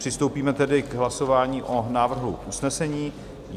Přistoupíme tedy k hlasování o návrhu usnesení.